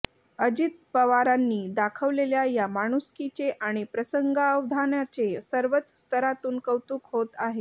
अजित पवारांनी दाखवलेल्या या माणूसकीचे आणि प्रसंगावधानाचे सर्वच स्तरातून कौतुक होत आहे